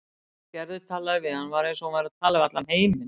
Þegar Gerður talaði við hann var eins og hún væri að tala við allan heiminn.